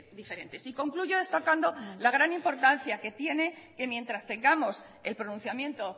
diferentes y concluyo destacando la gran importancia que tiene que mientras tengamos el pronunciamiento